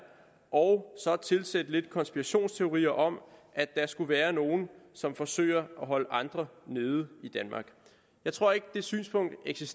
og så at tilsætte lidt konspirationsteorier om at der skulle være nogle som forsøger at holde andre nede i danmark jeg tror ikke det synspunkt er rigtigt